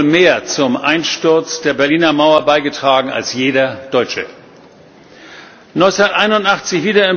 Er hat wohl mehr zum Einsturz der Berliner Mauer beigetragen als jeder Deutsche. 1981